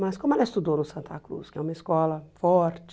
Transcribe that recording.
Mas como ela estudou no Santa Cruz, que é uma escola forte.